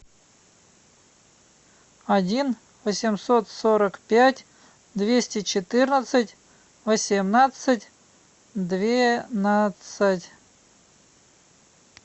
один восемьсот сорок пять двести четырнадцать восемнадцать двенадцать